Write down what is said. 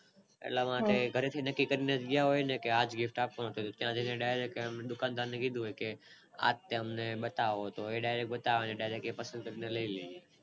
એટલા માટે ઘરે થી જ નક્કી કરી ને ગયા હોય ને કે આજ gift આપવું ત્યાં જાય ને આમ Direct દુકાન દાર ને કીધું હોય કે આજ અમને બતાવો તો એ Direct એ જ બતાવે ને ને આપણે Direct એ જ લઈએ